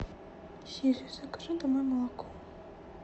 сири закажи домой молоко